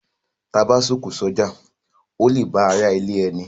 T a bá a s’oko s’oja, o le la a ba àrà ilé ẹní.